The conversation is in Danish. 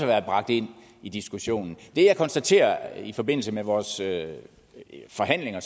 været bragt ind i diskussionen det jeg konstaterede i forbindelse med vores forhandlinger